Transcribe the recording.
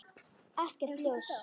Ekkert ljós.